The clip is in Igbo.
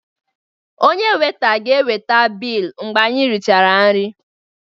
Onye Weita ga-eweta bilu mgbe anyị richara nri